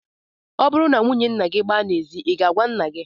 Ọ bụrụ na nwunye nna gị gbaa n'ezi, I ga-agwa nna gị?